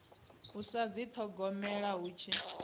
u sa dithogomela hu tshi